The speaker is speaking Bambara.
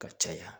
Ka caya